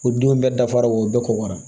O denw bɛɛ dafara o bɛɛ kɔgɔra